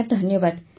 sir ଧନ୍ୟବାଦ